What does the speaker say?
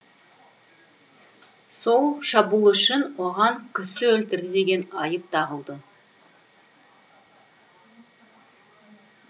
сол шабуыл үшін оған кісі өлтірді деген айып тағылды